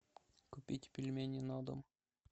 купить пельмени на дом